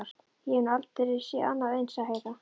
Ég hef nú aldrei séð annað eins, sagði Heiða.